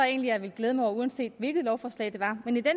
egentlig jeg ville glæde mig over uanset hvilket lovforslag det var men i den